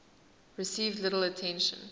received little attention